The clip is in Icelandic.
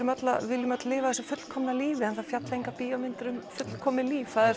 viljum öll lifa þessu fullkomna lífi en það fjalla engar bíómyndir um fullkomið líf það er